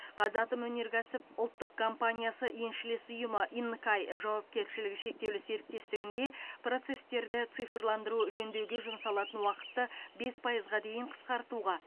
қазатомөнеркәсіп ұлттық компаниясы еншілес ұйымы инкай жауапкершілігі шектеулі серіктестігінде процестерді цифрландыру жөндеуге жұмсалатын уақытты бес пайызға дейін қысқартуға